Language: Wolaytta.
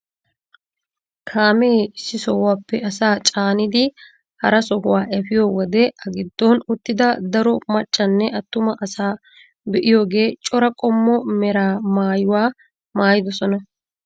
Kaamee issi sohuwaappe asaa caanidi hara sohuwaa efiyoo wode a giddon uttida daro maccanne attuma asaa be'iyoogee cora qommo mera maayuwaa maayidosona.